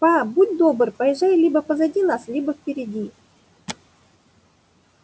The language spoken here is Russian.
па будь добр поезжай либо позади нас либо впереди